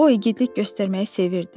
O igidlik göstərməyi sevirdi.